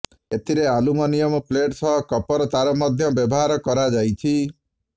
ଏଥିରେ aluminium plate ସହ copper ତାର ମଧ୍ୟ ବ୍ୟବହାର କରାଯାଇଛି